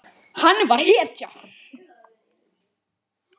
Hann var hetja.